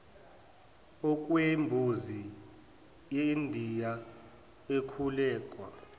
okwembuzi yendiya ekhulekwa